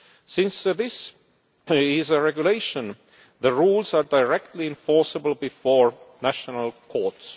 Since this is a regulation, the rules are directly enforceable before national courts.